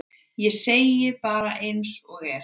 Ég segi það bara eins og er.